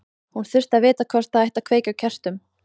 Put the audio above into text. Hún þurfti að vita hvort það ætti að kveikja á kertum.